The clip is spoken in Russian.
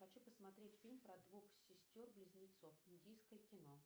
хочу посмотреть фильм про двух сестер близнецов индийское кино